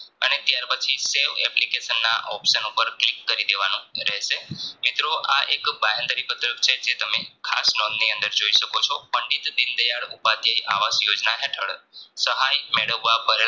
અને ત્યાર પછી save application ના option ઉપર click કરી દેવાનું રહેશે મિત્રો આ એક બાહેંધરી પત્રક છે જે તમે ખાસ નોંધની અંદર જોઈ શકો છો પંડિત દીનદયાળ ઉપાધ્યાય આવાસ યોજના હેઠળ સહાય મેળવવા પર